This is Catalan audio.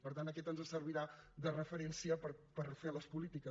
per tant aquesta ens servirà de referència per fer les polítiques